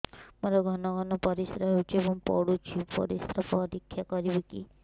ମୋର ଘନ ଘନ ପରିସ୍ରା ହେଉଛି ଏବଂ ପଡ଼ୁଛି ପରିସ୍ରା ପରୀକ୍ଷା କରିବିକି